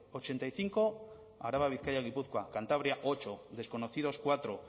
ochenta y cinco araba bizkaia y gipuzkoa cantabria ocho desconocidos cuatro